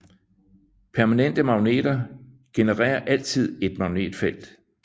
Permanente magneter genererer altid et magnetfelt